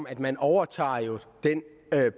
at man overtager den